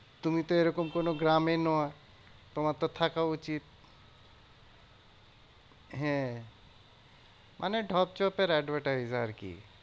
তুমি তো এরকম কোনো গ্রামীণ আহ তোমার তো থাকা উচিত। হ্যাঁ মানে ঢপ চপের advertise আরকি।